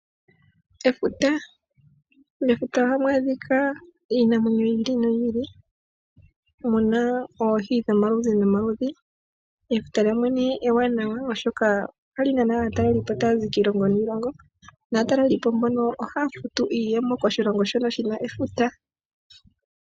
Efuta. Mefuta ohamu adhika iinamwenyo yiili noyili . Omuna oohi dhomaludhi nomaludhi. Efuta ewanawa oshoka ohali nana aatalelipo okuza kiilongo niilongo. Aatalelipo mbono ohaya futu iiyemo koshilongo shoka shina efuta.